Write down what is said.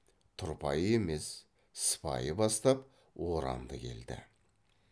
тұрпайы емес сыпайы бастап орамды келді